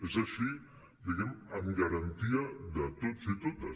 és així diguem ne amb garantia de tots i totes